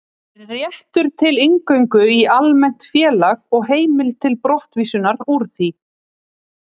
Réttur til inngöngu í almennt félag og heimild til brottvísunar úr því.